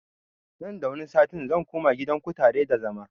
Nan da wani sati zan koma gidan kutare da zama